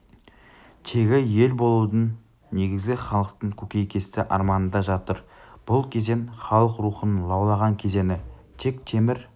тегі ел болудың негізі халықтың көкейкесті арманында жатыр бұл кезең халық рухының лаулаған кезеңі тек темір